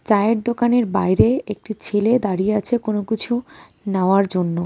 চায়ের দোকানের বাইরে একটি ছেলে দাঁড়িয়ে আছে কোন কিছু নেওয়ার জন্য.